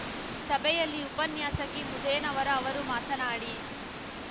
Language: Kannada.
ಸಭೆಯಲ್ಲಿ ಉಪನ್ಯಾಸಕಿ ಮುದೇನವರ ಅವರು ಮಾತನಾಡಿ